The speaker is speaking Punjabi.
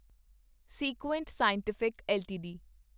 Sequent Scientific LTD